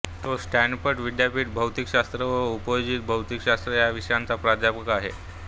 तो स्टॅनफर्ड विद्यापीठात भौतिकशास्त्र व उपयोजित भौतिकशास्त्र या विषयांचा प्राध्यापक आहे